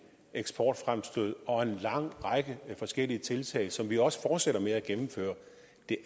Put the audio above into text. eksportfremstød og en lang række forskellige tiltag som vi også fortsætter med at gennemføre jo